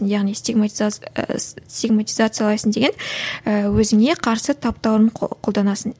яғни сигматизациялайсың деген ііі өзіңе қарсы таптауырын қолданасың